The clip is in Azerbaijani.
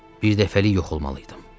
Birdəfəlik yox olmalıydım.